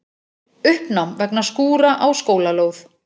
Uppnám vegna skúra á skólalóð